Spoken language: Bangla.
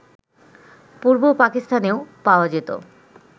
পূর্ব পাকিস্তানেও পাওয়া যেত